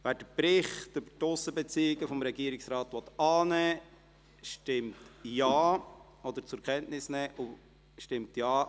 Wer den Bericht über die Aussenbeziehungen des Regierungsrates zur Kenntnis nehmen will, stimmt Ja,